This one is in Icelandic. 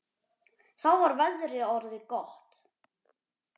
Þá var veðrið orðið gott.